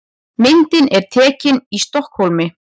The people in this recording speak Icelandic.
Myndin er tekin í Stokkhólmi.